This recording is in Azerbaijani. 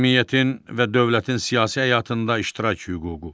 Cəmiyyətin və dövlətin siyasi həyatında iştirak hüququ.